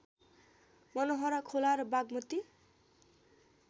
मनोहरा खोला र बागमती